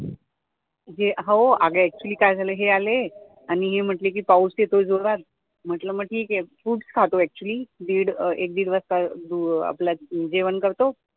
हो अगं एक्चुअली काय झालं हे आले आणि हे म्हटले कि पाऊस येतोय जोरात म्हंटल मग ठीक आहे, foods खातोय एक्चुअली एक दिड वाजता आपला जेवण करतो